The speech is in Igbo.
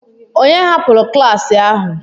Ònye hapụrụ klas ahụ?